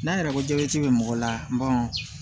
N'an yɛrɛ ko jabɛti be mɔgɔ la